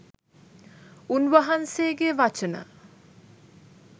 උන්වහන්සේගේ වචන